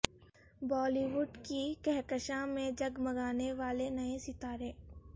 بولی وڈ کی کہکشاں میں جگمگانے والے نئے ستارے